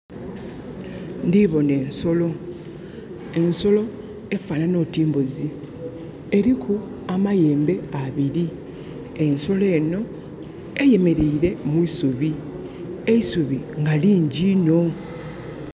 Ndhibona ensolo, ensolo efanana oti mbuuzi eriku amayiga abiri, ensolo eno eyemereire mwisubi eisubi nga lingi iinho.